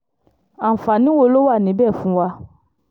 àǹfààní wo ló wà níbẹ̀ fún wa